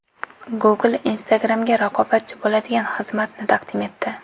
Google Instagram’ga raqobatchi bo‘ladigan xizmatni taqdim etdi.